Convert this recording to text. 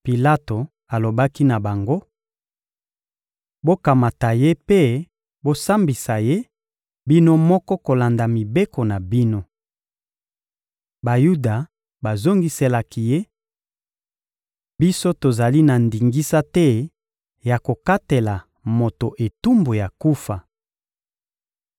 Pilato alobaki na bango: — Bokamata ye mpe bosambisa ye bino moko kolanda mibeko na bino. Bayuda bazongiselaki ye: — Biso tozali na ndingisa te ya kokatela moto etumbu ya kufa.